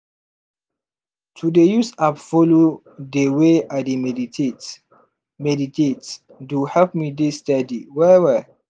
to dey use app follow dey way i dey meditate meditate do help me dey steady well well.